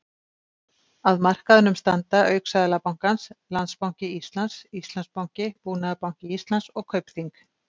Að markaðnum standa auk Seðlabankans, Landsbanki Íslands, Íslandsbanki, Búnaðarbanki Íslands og Kaupþing.